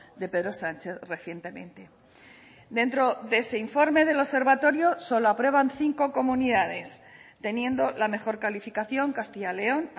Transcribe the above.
de pedro sánchez recientemente dentro de ese informe del observatorio solo aprueban cinco comunidades teniendo la mejor calificación castilla león